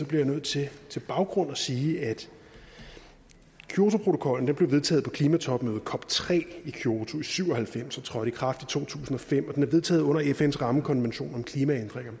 jeg nødt til som baggrund at sige at kyotoprotokollen blev vedtaget på klimatopmødet cop tre i kyoto i nitten syv og halvfems og trådte i kraft i to tusind og fem og den er vedtaget under fns rammekonvention om klimaændringer